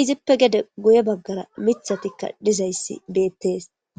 izippe guye baggara miththati dizayssi beettees.